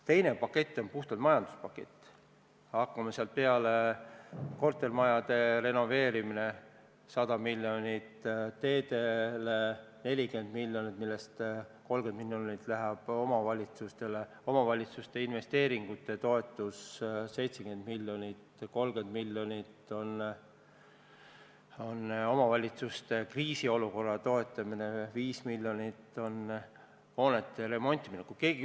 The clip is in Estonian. Teine pakett on puhtalt majanduspakett: kortermajade renoveerimine 100 miljonit, teedele 40 miljonit, millest 30 miljonit läheb omavalitsustele, omavalitsuste investeeringute toetus 70 miljonit, omavalitsuste kriisiolukorra toetus 30 miljonit, hoonete remontimine 5 miljonit.